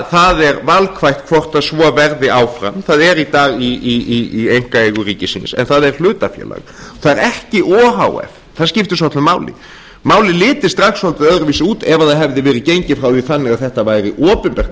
það er valkvætt hvort svo verði áfram það er í dag í einkaeigu ríkisins en það er hlutafélag það er ekki o h f það skiptir svolitlu máli málið liti strax öðruvísi út ef gengið hefði verið áfram því þannig að þetta væri opinbert